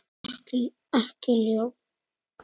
Ekki ljón.